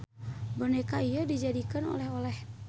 Boneka ieu dijadikeun oleh-oleh.